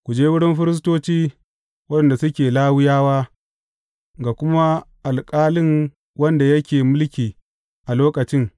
Ku je wurin firistoci, waɗanda suke Lawiyawa, ga kuma alƙalin wanda yake mulki a lokacin.